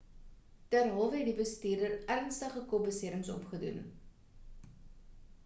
derhalwe het die bestuurder ernstige kopbeserings opgedoen